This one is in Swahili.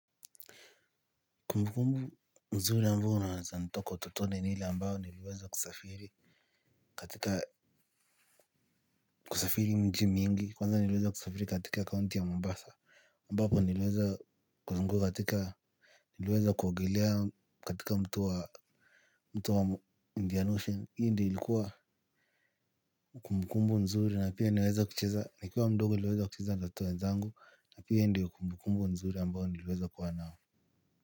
Kumbukumbu mzuri ambayo ninzo toka utotone ni ile ambayo niliweza kusafiri. Katika kusafiri mji mingi kwanza niliweza kusafiri katika kaunti ya Mombasa ambapo nilweza kuzunguka katika niliweza kuogelea katika mto wa Indian Ocean. Hii ndi ilikuwa kumbukumbu nzuri na pia niliweza kucheza nikuwa mdogo niliweza kucheza na watoto wenzangu. Na pia hii ndio kumbukumbu nzuri ambayo niliweza kuwa nao.